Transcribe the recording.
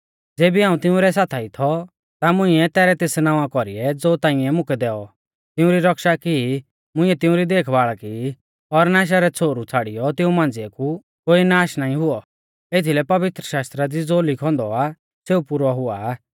ज़ेबी हाऊं तिंउरै साथाई थौ ता मुंइऐ तैरै तेस नावां कौरीऐ ज़ो ताइंऐ मुकै दैऔ तिउंरी रक्षा की मुंइऐ तिउंरी देखबाल़ की और नाशा रै छ़ोहरु छ़ाड़ियौ तिऊं मांझ़िऐ कु कोई नाश नाईं हुऔ एथीलै पवित्रशास्त्रा दी ज़ो लिखौ औन्दौ आ सेऊ पुरौ हुआ